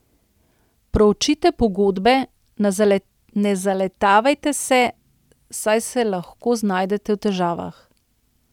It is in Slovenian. Proučite pogodbe, ne zaletavajte se, saj se lahko znajdete v težavah.